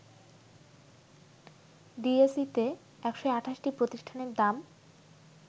ডিএসইতে ১২৮টি প্রতিষ্ঠানের দাম